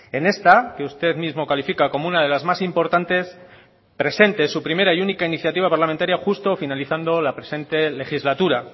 en esta que usted mismo califica como una de las más importantes presente su primera y única iniciativa parlamentaria justo finalizando la presente legislatura